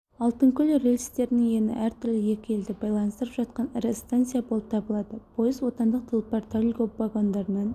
алтынкөл рельстерінің ені әртүрлі екі елді байланыстырып жатқан ірі станция болып табылады пойыз отандық тұлпар-тальго вагондарынан